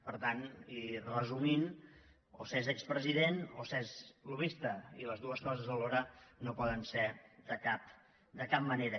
per tant i resumint o s’és expresident o s’és lobbista i les dues coses alhora no poden ser de cap manera